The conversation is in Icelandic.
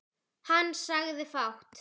Hann sagði fátt.